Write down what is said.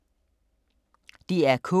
DR K